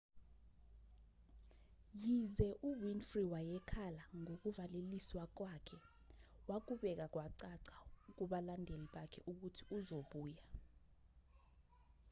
yize u-winfrey wayekhala ngokuvaleliswa kwakhe wakubeka kwacaca kubalandeli bakhe ukuthi uzobuya